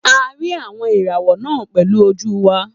A rí àwọn ìràwọ̀ náà pẹ̀lú ojú wa